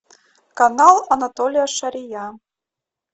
канал анатолия шария